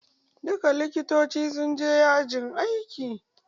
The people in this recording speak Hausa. Duka Likitoci su je yajin aiki!